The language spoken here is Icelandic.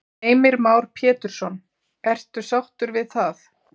Heimir Már Pétursson: Ertu sáttur við það?